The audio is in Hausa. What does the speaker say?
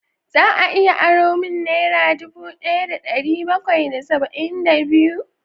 Za a iya aro min naira dubu daya da dari bakwai da saba'in da biyu?